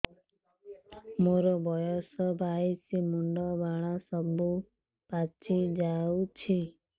ମୋର ବୟସ ବାଇଶି ମୁଣ୍ଡ ବାଳ ସବୁ ପାଛି ଯାଉଛି